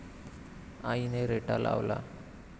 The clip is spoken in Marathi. आईने रेटा लावला.